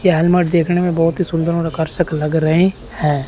यह हेलमट देखने में बहोत ही सुंदर और आकर्षक लग रहे हैं।